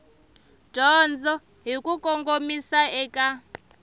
dyondzo hi ku kongomisa eka